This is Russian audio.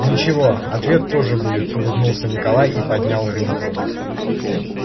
ничего ответ тоже будет улыбнулся николай и поднял рюмку